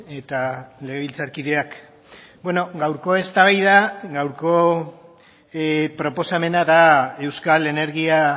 eta legebiltzarkideak gaurko eztabaida gaurko proposamena da euskal energia